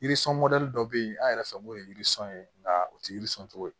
Yirisun dɔ be yen an yɛrɛ fɛ n'o ye yiri sɔn ye nga u ti yiri sɔn cogo ye